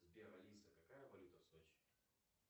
сбер алиса какая валюта в сочи